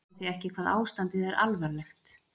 Sjáið þið ekki hvað ástandið er alvarlegt.